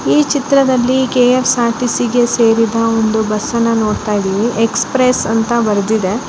ಈ ಚಿತ್ರದಲ್ಲಿ K_ S R T_ C ಗೆ ಸೇರಿದ ಒಂದು ಬಸ್ಅ ನ್ನು ನೋಡುತ್ತಿದ್ದೇವೆ ಎಕ್ಸ್ಪ್ರೆಸ್ ಅಂತ ಬರೆದಿದೆ.